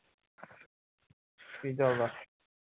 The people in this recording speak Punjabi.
ਕੀ ਚੱਲਦਾ?